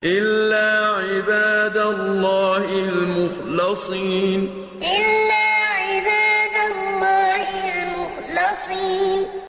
إِلَّا عِبَادَ اللَّهِ الْمُخْلَصِينَ إِلَّا عِبَادَ اللَّهِ الْمُخْلَصِينَ